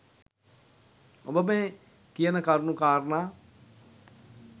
ඔබ මේ කියන කරුණු කාරණා